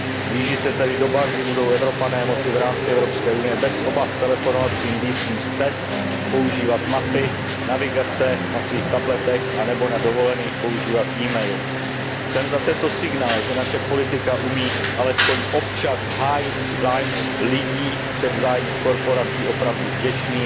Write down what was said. Blíží se tedy doba, kdy budou Evropané moci v rámci Evropské unie bez obav telefonovat svým blízkým z cest, používat mapy a navigace na svých tabletech anebo na dovolených používat email. Jsem za tento signál, že naše politika umí alespoň občas hájit zájmy lidí před zájmy korporací opravdu vděčný,